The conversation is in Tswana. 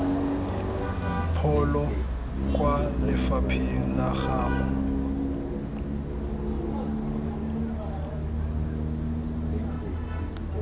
pholo kwa lefapheng la gago